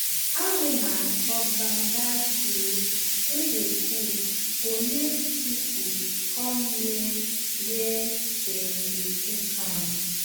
aroma of banga soup wey dey cook go make people come near where dem dey cook am.